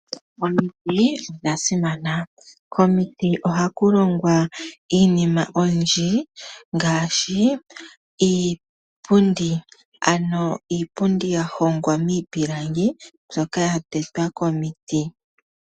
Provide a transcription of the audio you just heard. Omiti odha simana, komiti oha ku longwa iinima oyindji ngaashi iipundi, ano iipundi yahongwa miipilangi mbyoka ya tetwa komiti.